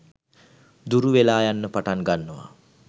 දුරු වෙලා යන්න පටන් ගන්නවා.